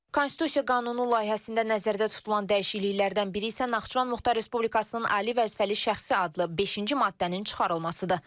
Konstitusiya qanunu layihəsində nəzərdə tutulan dəyişikliklərdən biri isə Naxçıvan Muxtar Respublikasının Ali Vəzifəli Şəxsi adlı beşinci maddənin çıxarılmasıdır.